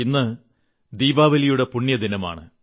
ഇന്ന് ദീപാവലിയുടെ പുണ്യദിനമാണ്